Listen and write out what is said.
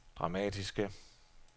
dramatiske